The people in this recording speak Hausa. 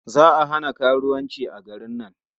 Za a hana karuwanci a garin nan..